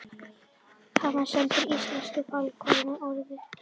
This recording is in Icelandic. Hann var sæmdur íslensku fálkaorðunni